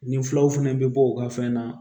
Nin filaw fana bɛ bɔ u ka fɛn na